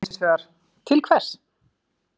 Hann sagði hinsvegar: Til hvers?